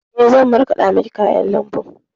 Eh, zan markaɗa miki kayan lambu.